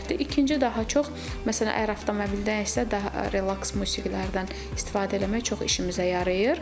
İkinci daha çox, məsələn, əgər avtomobildənsə, daha relaks musiqilərdən istifadə eləmək çox işimizə yarayır.